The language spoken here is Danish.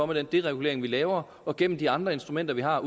med den deregulering vi laver og gennem de andre instrumenter vi har